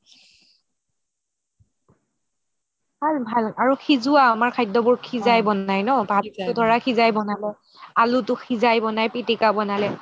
ভাল ভাল আৰু খিজিৱা আমাৰ খাদ্যবোৰ খিজাই বনাই ন আলুটো খিজাই পিতিকা বনালে